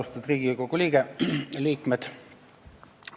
Austatud Riigikogu liikmed!